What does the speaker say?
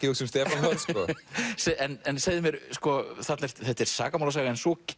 hugsa um Stefán Hörð sko en segðu mér þetta er sakamálasaga en svo